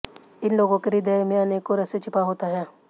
इन लोगों के ह्रदय में अनेकों रहस्य छिपा होता है